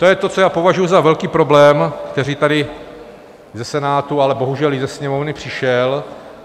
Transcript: To je to, co já považuji za velký problém, který tady ze Senátu, ale bohužel i ze Sněmovny přišel.